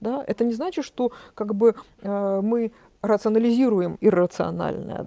да это не значит что как бы мы раз анализируем иррационально